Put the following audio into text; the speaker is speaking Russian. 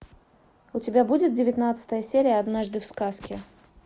у тебя будет девятнадцатая серия однажды в сказке